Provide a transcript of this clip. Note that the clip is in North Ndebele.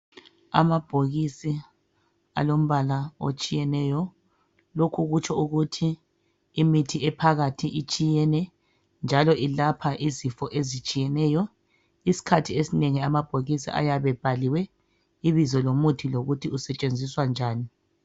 Amabhokisi alombala otshiyeneyo. Lokhu kutsho ukuthi imithi ephakathi itshiyene njalo ilapha izifo ezitshiyeneyo. Isikhathi esinengi amabhokisi ayabe ebhaliwe ibizo lomuthi lokuthi usetshenziswa njani.